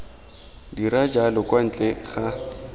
dira jalo kwa ntle ga